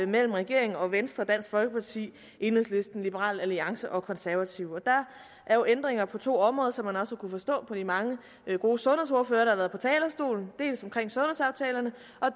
mellem regeringen og venstre dansk folkeparti enhedslisten liberal alliance og konservative der er jo ændringer på to områder som man også kunne forstå på de mange gode sundhedsordførere der har været på talerstolen dels omkring sundhedsaftalerne